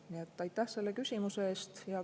Nii et aitäh selle küsimuse eest!